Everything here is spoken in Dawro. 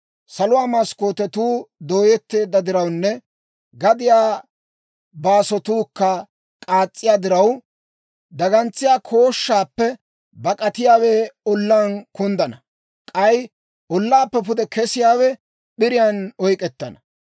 Saluwaa maskkootetuu dooyetteedda dirawunne, gadiyaa baasotuukka k'aas's'iyaa diraw, dagantsiyaa kooshshaappe bak'atiyaawe ollaan kunddana; k'ay ollaappe pude kesiyaawe p'iriyaan oyk'k'ettana.